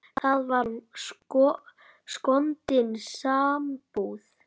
Það var skondin sambúð.